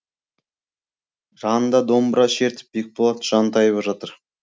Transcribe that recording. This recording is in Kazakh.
жанында домбыра шертіп бекболат жантайып жатыр